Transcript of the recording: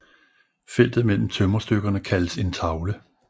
Feltet mellem tømmerstykkerne kaldes en tavle